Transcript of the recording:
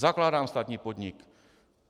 Zakládám státní podnik.